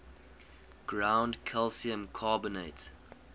ground calcium carbonate